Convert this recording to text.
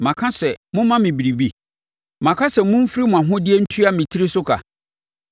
Maka sɛ, ‘Momma me biribi? Maka sɛ momfiri mo ahodeɛ ntua me tiri so sika,